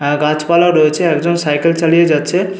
আর গাছপালা রয়েছে একজন সাইকেল চালিয়ে যাচ্ছে।